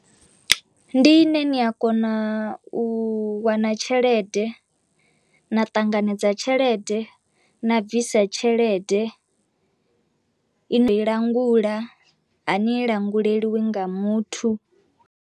Ndi ine ni a kona u wana tshelede, na ṱanganedza tshelede, na bvisa tshelede i no i langula a ni languleliwi nga muthu.